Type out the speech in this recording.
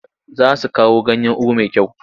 Za su kawo ganyan ugu mai kyau.